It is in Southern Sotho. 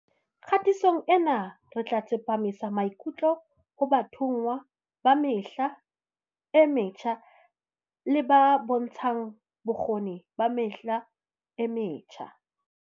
Kgatisong ena re tla tsepamisa maikutlo ho bathonngwa ba Mehla e Metjha le ba bontshang Bokgoni ba Mehla e Metjha.